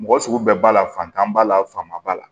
Mɔgɔ sugu bɛɛ b'a la fantan b'a la fanba la